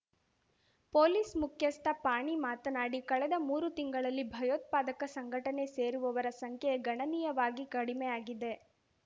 police ಮುಖ್ಯಸ್ಥ ಪಾಣಿ ಮಾತನಾಡಿ ಕಳೆದ ಮೂರು ತಿಂಗಳಲ್ಲಿ ಭಯೋತ್ಪಾದಕ ಸಂಘಟನೆ ಸೇರುವವರ ಸಂಖ್ಯೆ ಗಣನೀಯವಾಗಿ ಕಡಿಮೆಆಗಿದೆ